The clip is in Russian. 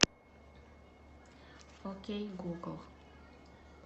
окей гугл